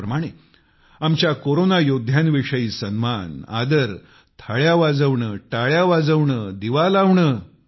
त्याच प्रमाणे आमच्या कोरोना योद्धांच्याविषयी सन्मान आदर थाळ्या वाजवणे टाळ्या वाजवणे दिवा लावणे